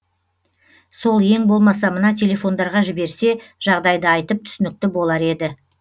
сол ең болмаса мына телефондарға жіберсе жағдайды айтып түсінікті болар еді